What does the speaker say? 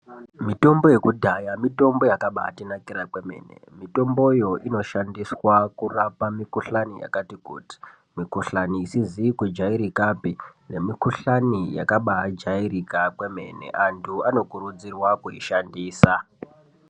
Mitombo yekudhaya mitombo yaka baiti nakira kwemene mitombo iyo ino shandiswa kurapa mikuhlani yakati kuti mikuhlani isizi ku jairikapi ne mikuhlani yakabai jairika kwemene antu ano kurudzirwa ku ishandisa.